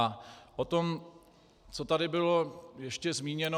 A o tom, co tady bylo ještě zmíněno.